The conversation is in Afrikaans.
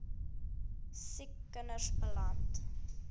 siek kinders beland